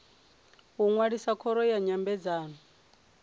u ṅwalisa khoro ya nyambedzano